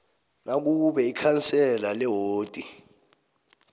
nakube ikhansela lewodi